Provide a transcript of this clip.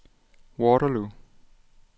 Waterloo